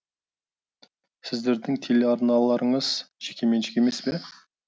сіздердің телеарналарыңыз жекеменшік емес пе